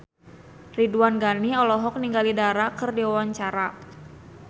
Ridwan Ghani olohok ningali Dara keur diwawancara